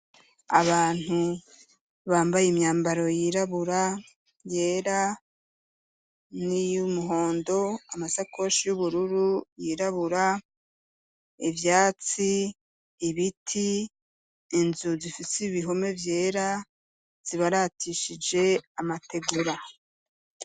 Abantu, bambaye imyambaro yirabura, yera, n'iyumuhondo, amasakoshi y'ubururu, yirabura, ivyatsi, ibiti, inzu zifise ibihome vyera, zibaratishije amategura.